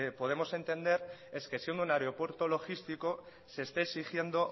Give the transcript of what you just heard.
podemos entender es que siendo un aeropuerto logístico se esté exigiendo